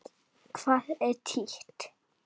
Hvað er títt?